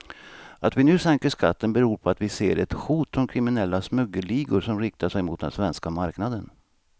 Att vi nu sänker skatten beror på att vi ser ett hot från kriminella smuggelligor som riktar sig mot den svenska marknaden.